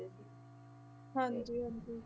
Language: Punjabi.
ਹਾਂਜੀ ਹਾਂਜੀ।